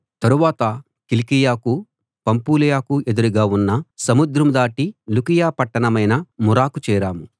తరువాత కిలికియకు పంఫూలియకు ఎదురుగా ఉన్న సముద్రం దాటి లుకియ పట్టణమైన మురకు చేరాం